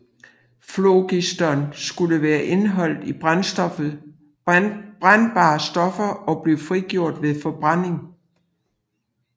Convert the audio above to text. Flogiston skulle være indeholdt i brændbare stoffer og blive frigjort ved forbrænding